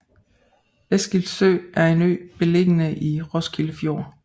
Eskilsø er en ø beliggende i Roskilde Fjord